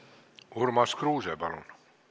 Urmas Kruuse, palun!